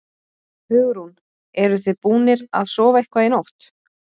Hugrún: Eruð þið búnir að sofa eitthvað í nótt?